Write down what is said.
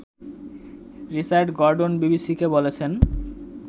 Richard Gordon বিবিসি’কে বলেছেন